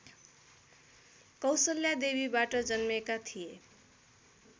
कौशल्यादेवीबाट जन्मेका थिए